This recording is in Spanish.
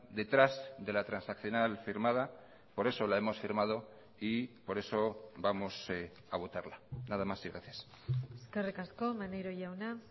detrás de la transaccional firmada por eso la hemos firmado y por eso vamos a votarla nada más y gracias eskerrik asko maneiro jauna